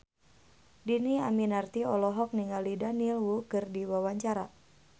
Dhini Aminarti olohok ningali Daniel Wu keur diwawancara